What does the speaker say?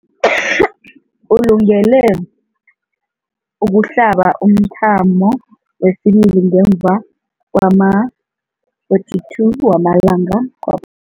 Ulungele ukuhlaba umthamo wesibili ngemva kwama-42 wama langa kwaph